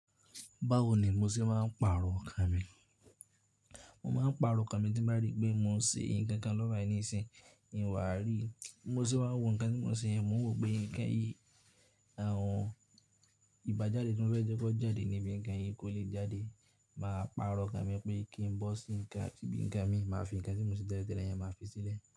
Báwo ni mo ṣe máa ń pààrọ̀ ọkàn mi? Mo máa ń pààrọ̀ ọkàn mi tí mo bá ríi pé mò ń ṣe nǹkan kan lọ́wọ́ báyìí nísìín, míì wá ríi. Bí mo ṣe wá ń wo nǹkan tí mò ń ṣe yẹn, mò ń wòó pé nǹkan yìí, àwọn ìbájádé tí mo fẹ́ jẹ́ kó jáde níbi nǹkan yìí kò lè jáde. Màá pààrọ̀ ọkàn mi pé kí n bọ́ sí nǹkan, ibi nǹkan míì, màá fi nǹkan tí mò ń ṣe tẹ́lẹ̀ tẹ́lẹ̀ yẹn màá fi sílẹ̀.